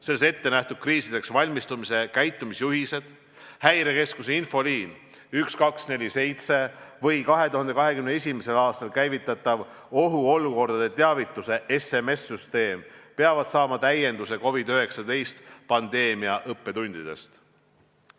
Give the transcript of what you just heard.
Selles ette nähtud kriisideks valmistumise käitumisjuhised, Häirekeskuse infoliin 1247 või 2021. aastal käivitatav ohuolukordade teavituse SMS-süsteem peavad saama täienduse COVID-19 pandeemia õppetundidest.